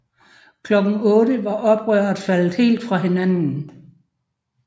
Klokken 8 var oprøret faldet helt fra hinanden